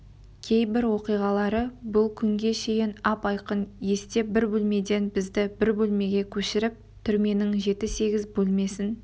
кейбір оқиғалары бұл күнге шейін ап-айқын есте бір бөлмеден бізді бір бөлмеге көшіріп түрменің жеті-сегіз бөлмесін